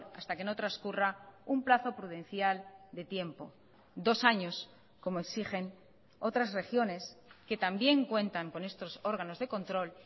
hasta que no transcurra un plazo prudencial de tiempo dos años como exigen otras regiones que también cuentan con estos órganos de control